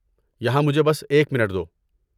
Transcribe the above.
یہاں مجھے بس ایک منٹ دو۔